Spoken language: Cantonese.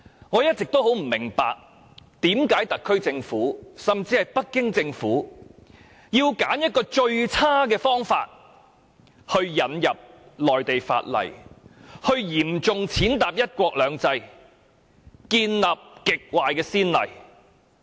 我一直不明白為何特區政府甚至北京政府要選擇這種最差的方法引入內地法例，嚴重踐踏"一國兩制"原則，並開立極壞的先例。